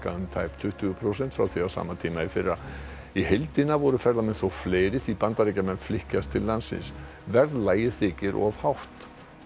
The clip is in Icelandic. um tæp tuttugu prósent frá því á sama tíma í fyrra í heildina voru ferðamenn þó fleiri því Bandaríkjamenn flykkjast til landsins verðlagið þykir of hátt